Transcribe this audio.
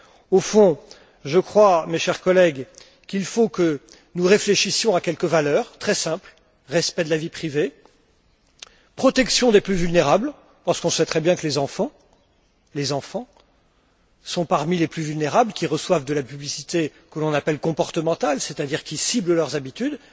Au fond, je crois, mes chers collègues, qu'il faut que nous réfléchissions à quelques valeurs très simples respect de la vie privée, protection des plus vulnérables, parce qu'on sait très bien que les enfants sont parmi les plus vulnérables qui reçoivent de la publicité que l'on appelle comportementale, c'est à dire qui ciblent leurs habitudes.